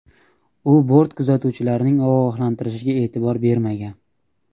U bort kuzatuvchilarning ogohlantirishlariga e’tibor bermagan.